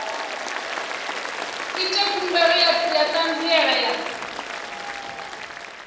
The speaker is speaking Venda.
ite khumbelo ya ṱhanziela ya